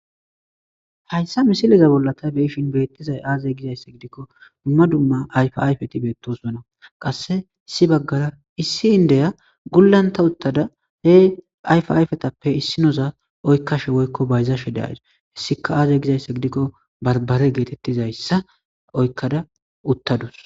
Hayssa misileza bollata beishin beettizay aazey gizayssa gidikko dumma dumma ayfayfeti beettosonna qasse issi baggara issi indeya gullanta uttada he ayf ayfetappe issinoza oykkashe woykko bayzashe de as hessika aazey gizayssa gidikko barbare geetettizayssa oykkada uttadus.